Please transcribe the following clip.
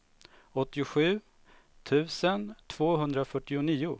åttiosju tusen tvåhundrafyrtionio